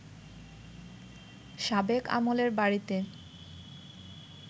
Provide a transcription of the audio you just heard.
সাবেক আমলের বাড়িতে